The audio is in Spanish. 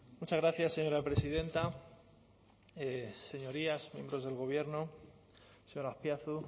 muchas gracias señora presidenta señorías miembros del gobierno señor azpiazu